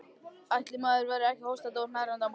Ætli maður verði ekki hóstandi og hnerrandi á morgun.